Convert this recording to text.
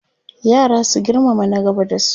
yara su girmama na gaba da su